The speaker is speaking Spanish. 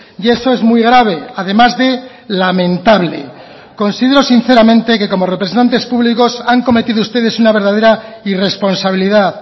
y eso es muy grave además de lamentable considero sinceramente que como representantes públicos han cometido ustedes una verdadera irresponsabilidad